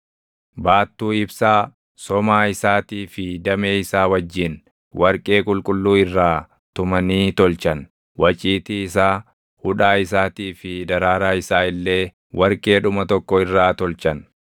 Baattuu ibsaa, somaa isaatii fi damee isaa wajjin warqee qulqulluu irraa tumanii tolchan; waciitii isaa, hudhaa isaatii fi daraaraa isaa illee warqeedhuma tokko irraa tolchan.